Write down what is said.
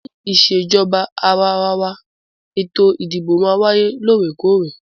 Ní ìṣèjọba àwàrawa, ètò ìdìbò máà ń wáyé lóòrèkóòrè.